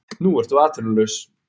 Nú ertu atvinnulaus.